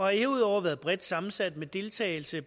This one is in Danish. herudover været bredt sammensat med deltagelse